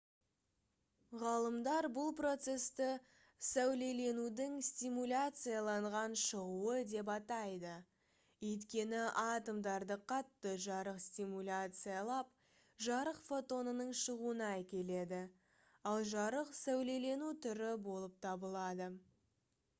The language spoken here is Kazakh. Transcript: ғалымдар бұл процесті «сәулеленудің стимуляцияланған шығуы» деп атайды өйткені атомдарды қатты жарық стимуляциялап жарық фотонының шығуына әкеледі ал жарық сәулелену түрі болып табылады